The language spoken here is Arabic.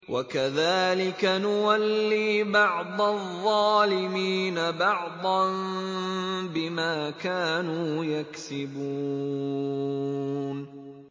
وَكَذَٰلِكَ نُوَلِّي بَعْضَ الظَّالِمِينَ بَعْضًا بِمَا كَانُوا يَكْسِبُونَ